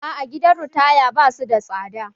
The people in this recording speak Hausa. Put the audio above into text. Aa, gidan ritaya ba su da tsada